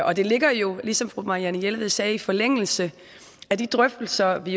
og det ligger jo som fru marianne jelved sagde i forlængelse af de drøftelser vi